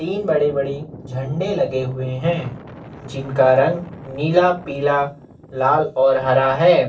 तीन बड़े बड़ी झंडे लगे हुए है जिनका रंग नीला पीला लाल और हरा है।